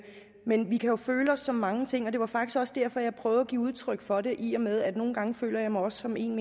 men vi kan jo føle os som mange ting og det var faktisk også derfor jeg prøvede at give udtryk for det i og med at nogle gange føler mig som en